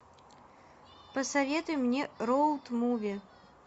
посоветуй мне роуд муви